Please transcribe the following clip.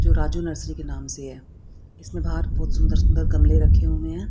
जो राजू नर्सरी के नाम से है इसमें बाहर बहोत सुंदर सुंदर गमले रखे हुए हैं।